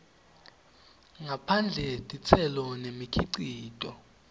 ngaphandle titselo nemikhicito